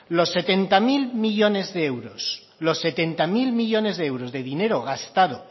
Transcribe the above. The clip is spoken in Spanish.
los setenta mil millónes de euros de dinero gastado